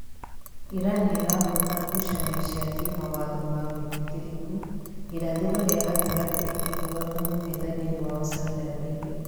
Iran nĩĩrahota ngũcanio cia kĩmawatho ma wĩtĩkĩrĩku irathĩro rĩa gatagatĩ ikihota mungethaniri wao Saudi Arabia